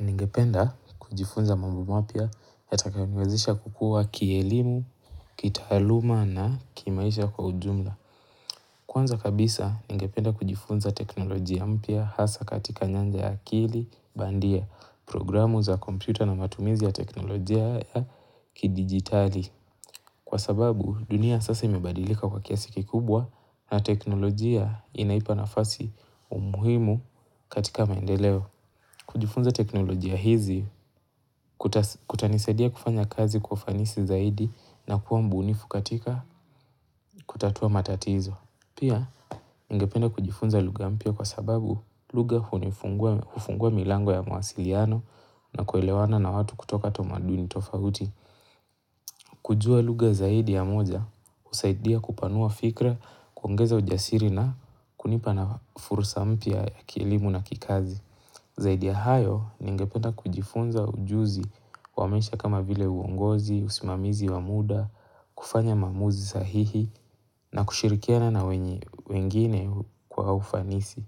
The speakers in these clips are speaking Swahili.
Ningependa kujifunza mambo mapia hatakauniwezisha kukua kielimu, kitaluma na kimaisha kwa ujumla. Kwanza kabisa, ngependa kujifunza teknolojia mpia hasa katika nyanja ya akili, bandia, programu za kompyuta na matumizi ya teknolojia ya kidigitali. Kwa sababu, dunia sasa imebadilika kwa kiasiki kubwa na teknolojia inaipa nafasi umuhimu katika maendeleo. Kujifunza teknolojia hizi, kutanisaidia kufanya kazi kufanisi zaidi na kuwa mbunifukatika kutatua matatizo. Pia, ningependa kujifunza luga mpia kwa sababu luga hunifungua milango ya mawasiliano na kuelewana na watu kutoka tomaduni tofahuti. Kujua luga zaidi ya moja, husaidia kupanua fikra kuongeza ujasiri na kunipa na furusa mpia ya kielimu na kikazi. Zaidi ya hayo ni ingepena kujifunza ujuzi wamesha kama vile uongozi, usimamizi wamuda, kufanya mamuzi sahihi na kushirikiana na wengine kwa ufanisi.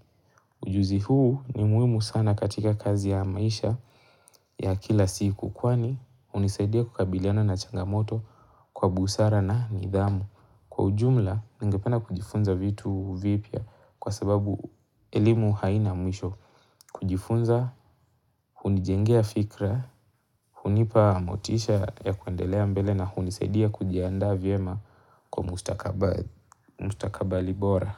Ujuzi huu ni muimu sana katika kazi ya maisha ya kila siku kwani hunisaidia kukabiliana na changamoto kwa busara na nidhamu. Kwa ujumla, ningependa kujifunza vitu vipya kwa sababu elimu haina mwisho kujifunza, kunijengea fikra, kunipa motisha ya kuendelea mbele na kunisaidia kujianda vyema kwa mustakabali bora.